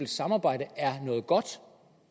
samarbejde er godt